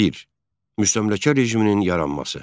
Müstəmləkə rejiminin yaranması.